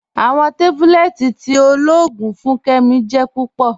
Awọn tábúlẹ̀tì tí ọlọ́ọ̀gùn fún Kẹ́mí jẹ́ púpọ̀.